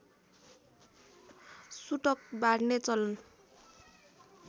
सुतक बार्ने चलन